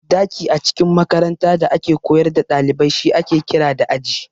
Daki a cikin makaranta da ake koyar da dalibai shi ake kira da Aji.